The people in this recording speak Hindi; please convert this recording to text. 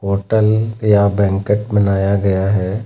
होटल या बैंकेट बनाया गया है।